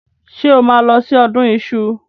Ṣé o máa lọ sí ọdún iṣu?